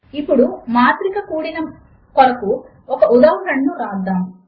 ఇప్పుడు మాత్రిక కూడిక కొరకు ఒక ఉదాహరణను వ్రాద్దాము